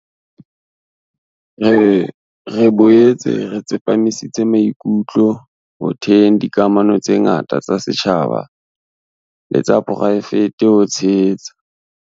Re boetse re tsepamisitse maikutlo ho theheng dikamano tse ngata tsa setjhaba le tsa poraefete ho tshehetsa